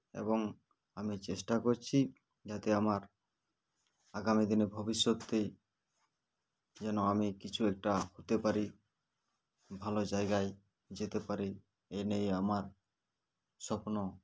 এবং আমি চেষ্টা করছি যাতে আমার আগামী দিনে ভবিষ্যতে যেন আমি কিছু একটা হতে পারি ভালো জায়গায় যেতে পারি এনিয়েই আমার স্বপ্ন